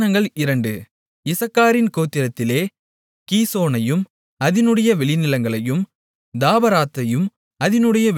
இசக்காரின் கோத்திரத்திலே கீசோனையும் அதினுடைய வெளிநிலங்களையும் தாபராத்தையும் அதினுடைய வெளிநிலங்களையும்